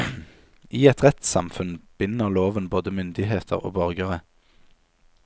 I et rettssamfunn binder loven både myndigheter og borgere.